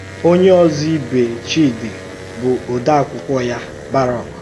Ònyé òzò ìbè Chídì bụ̀ òdèàkụ́kwọ̀ ya, Barọ́k.